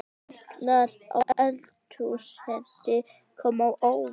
Hækkanir á eldsneyti koma á óvart